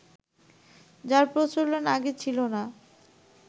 যার প্রচলন আগে ছিল না